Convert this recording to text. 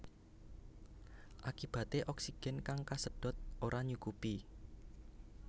Akibaté oksigen kang kasedhot ora nyukupi